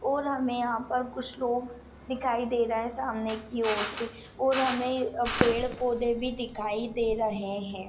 और हमे यहाँ पर कुछ लोग दिखाई दे रहे सामने की ओर से और हमे पेड़-पौधे भी दिखाई दे रहे है।